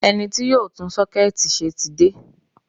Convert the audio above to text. Ẹni tí yóò tún sọ́kẹ́ẹ̀tì ṣe ti dé.